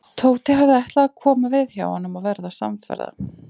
Tóti hafði ætlað að koma við hjá honum og verða samferða.